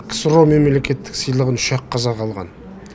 ксро мемлекеттік сыйлығын үш ақ қазақ алған